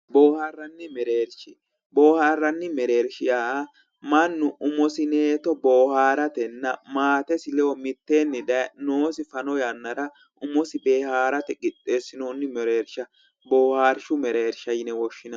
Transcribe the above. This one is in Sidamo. Boohaarranni mereersha yaa mannu umosi boohaarsatenna maatesi ledo mitteenni daye noosi fano yannara umosi boohaarate qixxeessinoonni mereersha boohaarshu mereersha yine woshshinanni